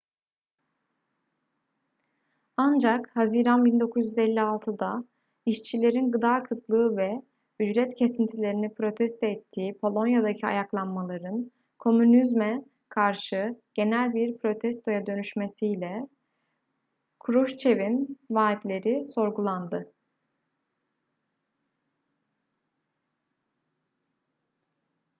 ancak haziran 1956'da işçilerin gıda kıtlığı ve ücret kesintilerini protesto ettiği polonya'daki ayaklanmaların komünizme karşı genel bir protestoya dönüşmesiyle kruşçev'in vaatleri sorgulandı